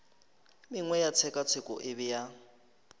mengwe ya tshekatsheko e bea